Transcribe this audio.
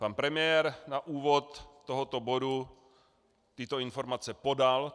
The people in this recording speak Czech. Pan premiér na úvod tohoto bodu tyto informace podal.